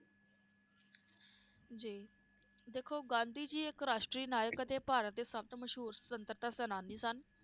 ਜੀ ਦੇਖੋ ਗਾਂਧੀ ਜੀ ਇਕ ਰਾਸ਼ਟਰੀ ਨਾਇਕ ਅਤੇ ਭਾਰਤ ਦੇ ਸਬ ਤੋਂ ਮਸ਼ਹੂਰ ਸਵਤੰਤਰਤਾ ਸੈਨਾਨੀ ਸਨ